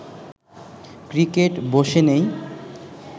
cricket বসে নেই